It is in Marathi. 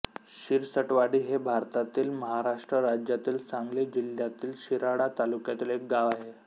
शिरसटवाडी हे भारतातील महाराष्ट्र राज्यातील सांगली जिल्ह्यातील शिराळा तालुक्यातील एक गाव आहे